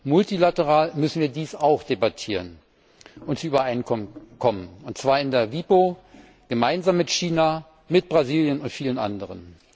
Multilateral müssen wir dies auch debattieren und darüber übereinkommen, und zwar in der WIPO gemeinsam mit China, mit Brasilien und vielen anderen.